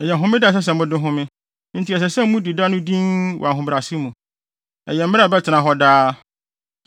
Ɛyɛ homeda a ɛsɛ sɛ mode home enti ɛsɛ sɛ mudi da no dinn wɔ ahobrɛase mu. Ɛyɛ mmara a ɛbɛtena hɔ daa.